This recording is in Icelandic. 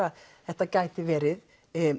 þetta gæti verið